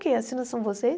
Quem assina são